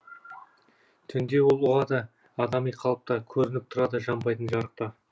түнде ол ұғады адами қалыпта көрініп тұрады жанбайтын жарықта